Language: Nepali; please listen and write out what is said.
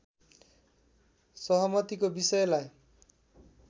सहमतिको विषयलाई